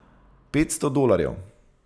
Petsto dolarjev!